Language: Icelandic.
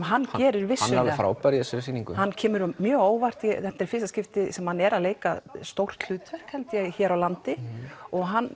hann er alveg frábær í þessari sýningu kemur mjög á óvart þetta er fyrsta skiptið sem hann er að leika stórt hlutverk held ég hér á landi og hann